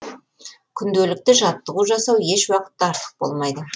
күнделікті жаттығу жасау еш уақытта артық болмайды